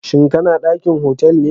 shin kana dakin otal be?